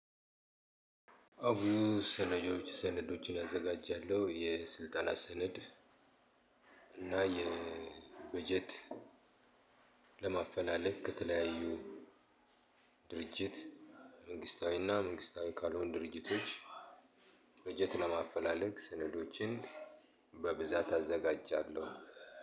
አው ሰነዶች ሰነዶችን አዘጋጃለሁ የስልጠና ሰነድ እና የበጀት ለማፈላለግ ከተለያዩ ድርጅት መንግስታዊና መንግስታዊ ካልሆኑ ድርጅቶች በጀት ለማፈላለግ ስነዶችን በብዛት አዘጋጃለሁ።